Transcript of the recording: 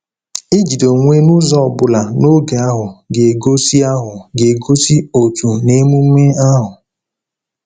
Ijide onwe n’ụzọ ọ bụla n’oge ahụ ga-egosi ahụ ga-egosi òtù n’emume ahụ.